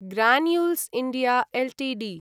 Granules India Ltd